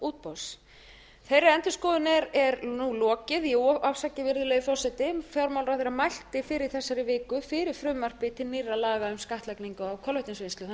útboðs þeirri endurskoðun er nú lokið afsakið virðulegi forseti fjármálaráðherra mælti fyrr í þessari viku fyrir frumvarpi til nýrra laga um skattlagningu á kolvetnisvinnslu þannig að má